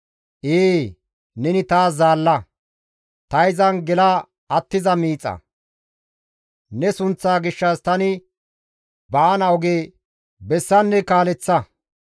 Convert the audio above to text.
Ee, neni taas zaalla; ta izan gela attiza miixa; ne sunththa gishshas tani baana oge bessanne kaaleththa.